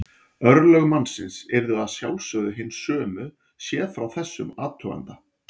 Örlög mannsins yrðu að sjálfsögðu hin sömu séð frá þessum athuganda.